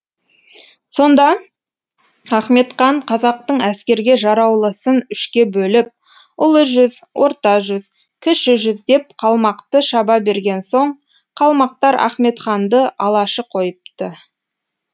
сонда ахметхан қазақтың әскерге жараулысын үшке бөліп ұлы жүз орта жүз кіші жүз деп қалмақты шаба берген соң қалмақтар ахметханды алашы қойыпты